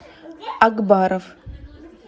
акбаров